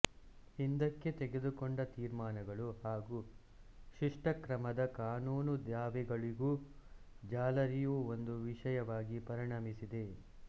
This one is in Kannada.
ಹಿಂದಕ್ಕೆ ತೆಗೆದುಕೊಂಡ ತೀರ್ಮಾನಗಳು ಹಾಗೂ ಶಿಷ್ಟಕ್ರಮದ ಕಾನೂನು ದಾವೆಗಳಿಗೂ ಜಾಲರಿಯು ಒಂದು ವಿಷಯವಾಗಿ ಪರಿಣಮಿಸಿದೆ